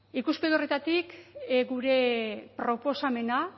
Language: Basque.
ikuspegi horretatik gure proposamena